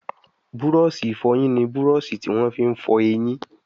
Búrọ̀ọ̀ṣì ìfọyín ní Búrọ̀ọ̀ṣì tí wón fí fọ ẹyìn.